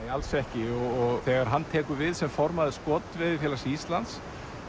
nei alls ekki og þegar hann tekur við sem formaður Skotveiðifélags Íslands